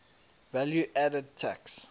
value added tax